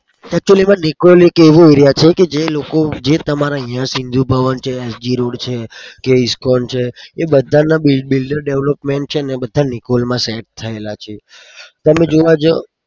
acctully માં નિકોલ એક એવો aera છે કે જે લોકો જે તમારા સિંધુ ભવન છે sg road છે કે ISKCON છે એ બધાના builder development છે ન એ બધા નિકોલમાં set થયેલા છે.